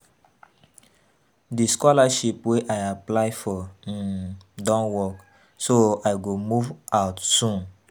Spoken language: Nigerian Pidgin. The scholarship wey I apply for um don work so I go move out soon